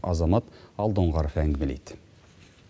азамат алдоңғаров әңгімелейді